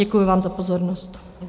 Děkuji vám za pozornost.